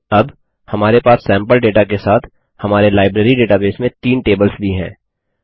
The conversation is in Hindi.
अब हमारे पास सैम्पल डेटा के साथ हमारे लाइब्रेरी डेटाबेस में तीन टेबल्स भी हैं